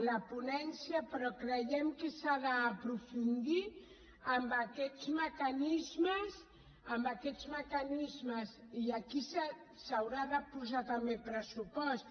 la ponència però creiem que s’ha d’aprofundir en aquests mecanismes i aquí s’hi haurà de posar també pressupost